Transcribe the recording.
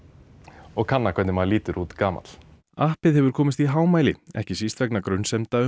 og kanna hvernig maður lítur út gamall appið hefur komist í hámæli ekki síst vegna grunsemda um